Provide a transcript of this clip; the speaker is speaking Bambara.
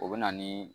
O bɛ na ni